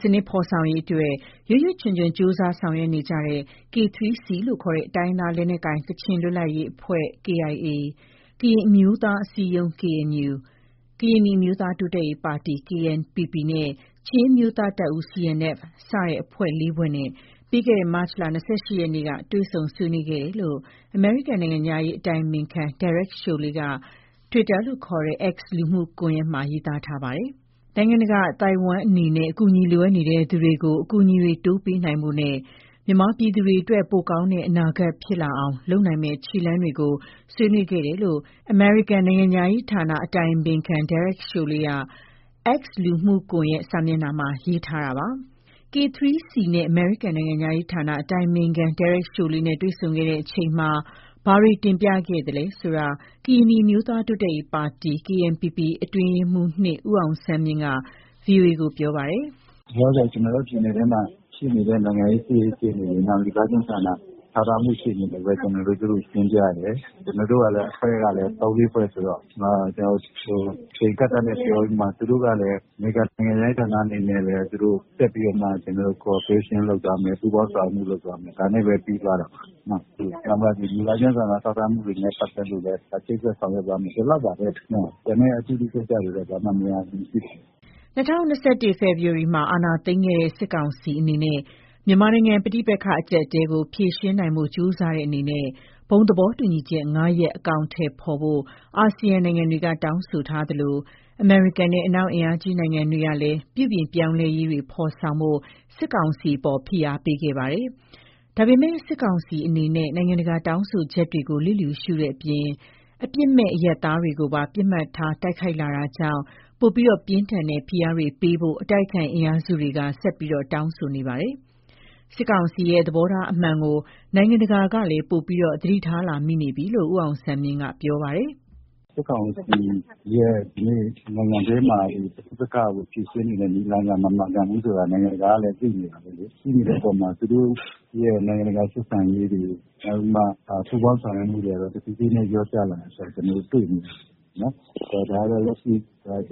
စနစ်ဖော်ဆောင်ရေးအတွက် ရွပ်ရွပ်ချွံချွံ ကြိုးစားဆောင်ရွက်နေကြတဲ့ K3C လို့ခေါ်တဲ့ တိုင်းရင်းသား လက်နက်ကိုင် ကချင်လွတ်လပ်ရေးအဖွဲ့ ၊ ကရင်အမျိုးသား အစည်းအရုံး ၊ ကရင်နီအမျိုးသားတိုးတက်ရေးပါတီ နဲ့ ချင်းအမျိုးသားတပ်ဦး စတဲ့ အဖွဲ့ ၄ ဖွဲ့နဲ့ ပြီးခဲ့တဲ့ မတ်လ ၂၈ ရက်နေ့က တွေ့ဆုံ ဆွေးနွေးခဲ့ကြတယ်လို့ အမေရိကန်နိုင်ငံခြားရေး အတိုင်ပင်ခံ Derek Chollet က X လူမှုကွန်ရက် စာမျက်နှာမှာ ရေးသားထားပါတယ်။ နိုင်ငံတကာ အသိုက်အဝန်းအနေနဲ့ အကူအညီ လိုအပ်နေသူတွေကို အကူအညီတွေ တိုးပေးနိုင်ဖို့နဲ့ မြန်မာပြည်သူတွေအတွက် ပိုကောင်းတဲ့ အနာဂတ်ဖြစ်လာအောင် လုပ်နိုင်မယ့် ခြေလှမ်းတွေကို ဆွေးနွေးခဲ့ကြတယ်လို့လည်း အမေရိကန်နိုင်ငံခြားရေးဌာန အတိုင်ပင်ခံ Derek Chollet က X လူမှုကွန်ရက်စာမျက်နှာမှာ ရေးသားထားတာပါ။ K3C နဲ့ အမေရိကန် နိုင်ငံခြားရေးဌာန အတိုင်ပင်ခံ Derek Chollet နဲ့ တွေ့ဆုံခဲ့ချိန်မှာ ဘာတွေ တင်ပြခဲ့သလဲ ဆိုတာကို ကရင်နီအမျိုးသား တိုးတက်ရေးပါတီ အတွင်းရေးမှူး ဦးအောင်ဆန်းမြင့် က ဗွီအိုအေကို ပြောပါတယ်။ “လောလောဆယ် ကျနော်တို့ ပြည်နယ်ထဲမှာ ရှိနေတဲ့ နိုင်ငံရေး စစ်ရေး အခြေအနေ နောက် လူသားချင်းစာနာထောက်ထားမှု အခြေအနေနဲ့ပဲ ကျနော်တို့ သူတို့ကို တင်ပြတယ်။ ကျနော်တို့ကလည်း အဖွဲ့ကလည်း ၃၊ ၄ဖွဲ့ဆိုတော့ ကျနော်တို့ အချိန် အကန့်အသတ်နဲ့ ပြောပြီးမှ သူတို့ကလည်း အမေရိကန်နိုင်ငံခြားရေးဌာနအနေနဲ့ သူတို့ ဆက်ပြီးတော့မှ ကျနော်တို့ collaboration လုပ်သွားမယ်၊ ပူးပေါင်းဆောင်ရွက်မှု လုပ်သွားမယ် ဒါနဲ့ပဲ ပြီးသွားတာပါနော်။ ဒီလူသားချင်းစာနာ ထောက်ထားမှုတွေနဲ့ ပတ်သက်လို့ပဲ ချိတ်ဆက်ဆောင်ရွက်သွားမယ် ဒီလောက်ပါပဲနော်၊ ကျန်တဲ့ အသီးသီးကိစ္စတွေက ဘာမှမရှိပါဘူး။” ၂၀၂၁ ခုနှစ် ဖေဖော်ဝါရီလမှာ အာဏာသိမ်းခဲ့တဲ့ စစ်ကောင်စီ အနေနဲ့ မြန်မာနိုင်ငံပဋိပက္ခ အကျပ်အတည်းကို ဖြေရှင်းနိုင်ဖို့ ကြိုးစားတဲ့အနေနဲ့ ဘုံသဘောတူညီချက် ၅ ရပ်ကို အကောင်အထည်ဖော်ဖို့ ASEAN နိုင်ငံတွေက တောင်းဆိုထားသလို အမေရိကန်နဲ့ အနောက်အင်အားကြီးနိုင်ငံတွေကလည်း ပြုပြင်ပြောင်းလဲရေးတွေ ဖေါ်ဆောင်ဖို့ စစ်ကောင်စီအပေါ်ကို ဖိအားပေးခဲ့ပါတယ်။ ဒါပေမယ့်လည်း စစ်ကောင်စီအနေနဲ့ နိုင်ငံတကာရဲ့ တောင်းဆိုချက်တွေကို လစ်လျူရှုခဲ့တဲ့အပြင် အပြစ်မဲ့ အရပ်သားတွေကိုပါ ပစ်မှတ်ထား တိုက်ခိုက်လာတာကြောင့် ပိုပြီး ပြင်းထန်တဲ့ ဖိအားတွေပေးဖို့ အတိုက်အခံအင်အားစုတွေက ဆက်လက်တောင်းဆိုနေပါတယ်။ စစ်ကောင်စီရဲ့ သဘောထားအမှန်ကို နိုင်ငံတကာကလည်း ပိုပြီး သတိထားလာမိနေပြီလို့ ဦးအောင်ဆန်းမြင့် က ပြောပါတယ်။ “စစ်ကောင်စီရဲ့ ဒီနိုင်ငံထဲမှာ ပဋိပက္ခကို ဖြေရှင်းနေတဲ့ နည်းလမ်းက မမှန်ကန်ဘူးဆိုတာ နိုင်ငံတကာကလည်း သိနေတာပဲလေ။ သိနေတဲ့အပေါ်မှာ သူတို့ရဲ့ နိုင်ငံတကာဆက်ဆံရေးတွေ နောက်ပြီးမှ ပူးပေါင်းဆောင်ရွက်မှုတွေကလည်း တဖြည်းဖြည်းနဲ့လျော့ကျလာတာ ကျနော်တို့တွေ့နေရတာပေ့ါနော်။ ဒါတော့ လက်ရှိ